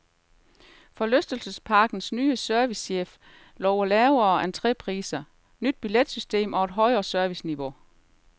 Forlystelsesparkens ny servicechef lover lavere entrépris, nyt billetsystem og et højere serviceniveau.